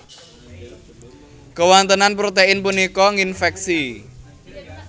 Kawontenan protein punika nginfèksi